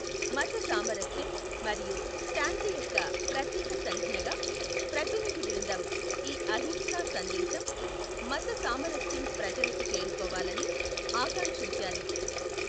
మత సామరస్యం మరియు శాంతి యొక్క ప్రతీక సంజ్ఞగా, ప్రతినిధి బృందం ఈ అహింసా సందేశం, మత సామరస్యం ప్రజలకు చేరుకోవాలని ఆకాంక్షించారు.